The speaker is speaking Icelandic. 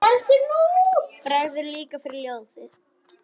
Bregður líka fyrir í ljóði.